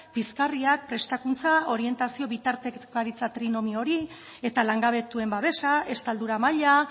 pizgarriak prestakuntza orientazio bitartekaritza trinomio hori eta langabetuen babesa estaldura maila